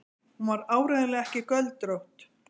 Hún var áreiðanlega ekki göldrótt.